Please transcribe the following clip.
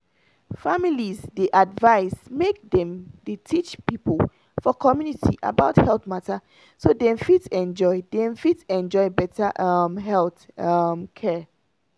families dey advise make dem dey teach people for community about health matter so dem fit enjoy dem fit enjoy better um health um care.